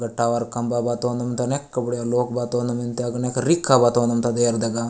but tower कमबा बातोम तने कबडे लोक बातोन मिनते अग्ने रिका बातों एयर दगा --